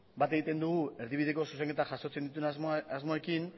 bat egiten dugu erdibideko zuzenketa jasotzen dituen asmoekin